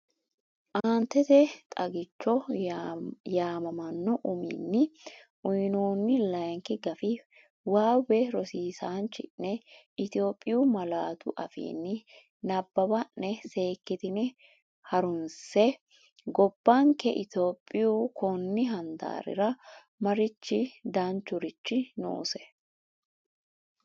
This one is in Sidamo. Aanetete “Xagicho” yaamamanno uminni uyinoonni layinki gafi waawe rosiisaanchi’ne Itophiyu malaatu afiinni nabbawanna’ne seek kitine ha’runse, Gobbanke Itiyophiyu konni handaarira mariachi danchurichi noose?